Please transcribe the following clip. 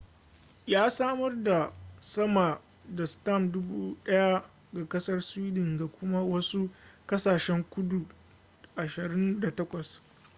ya samar da sama da stamp 1000 ga kasar sweden ga kuma wasu kasashen guda 28